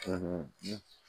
Tuun ji